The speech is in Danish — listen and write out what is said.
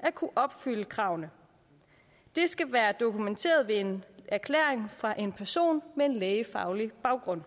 at kunne opfylde kravene det skal være dokumenteret ved en erklæring fra en person med lægefaglig baggrund